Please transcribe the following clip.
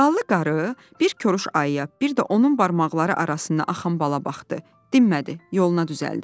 Ballı qarı bir koruş ayıya, bir də onun barmaqları arasından axan bala baxdı, dinmədi, yoluna düzəldi.